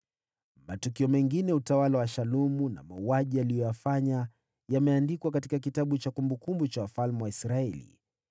Matukio mengine ya utawala wa Shalumu, na mauaji aliyoyafanya, yameandikwa katika kitabu cha kumbukumbu za wafalme wa Israeli.